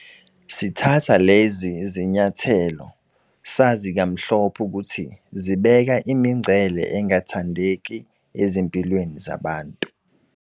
Sithatha lezi zinyathelo sazi kamhlophe ukuthi zibeka imingcele engathandeki ezimpilweni zabantu.